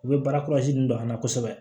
U bɛ baara don an na kosɛbɛ